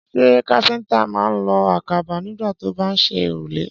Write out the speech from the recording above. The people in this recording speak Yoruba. Ṣé káfíńtà máa ń lo àkàbà nígbà tó bá ń ṣe òrùlé?